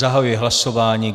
Zahajuji hlasování.